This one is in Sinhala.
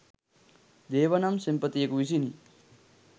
දේව නම් සෙන්පතියෙකු විසිනි